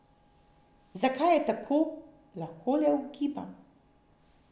Zakaj je tako, lahko le ugibam.